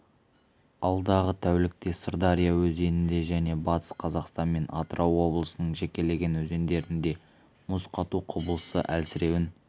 алдағы тәулікте сырдария өзенінде және батыс қазақстан мен атырау облысының жекелеген өзендерінде мұз қату құбылысы әлсіреуін